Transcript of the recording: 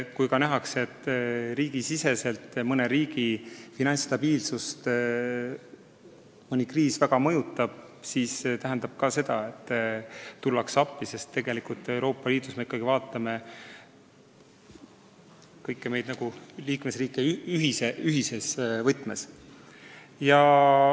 Kui nähakse, et mõne riigi rahandust ähvardab kriis, siis minnakse appi, sest me käsitleme Euroopa Liidus kõiki liikmesriike ühes võtmes.